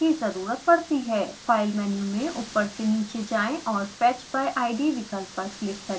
file menu में ऊपर से नीचे जाएँ और fetch by id विकल्प पर क्लिक करें